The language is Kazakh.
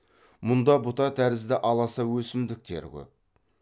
мұнда бұта тәрізді аласа өсімдіктер көп